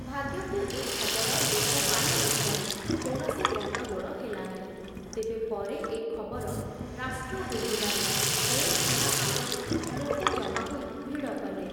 ଭାଗ୍ୟକୁ ଏ ଖବର ଲୋକ ପାଇ ନ ଥିବାରୁ କୌଣସି ଗଣ୍ଡଗୋଳ ହେଲା ନାହିଁ, ତେବେ ପରେ ଏ ଖବର ରାଷ୍ଟ୍ର ହୋଇଯିବାରୁ ଜେଲଖାନା ଆଗରେ ଲୋକ ଜମା ହୋଇ ଭିଡ଼ କଲେ।